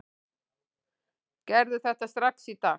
Gerðu þetta strax í dag!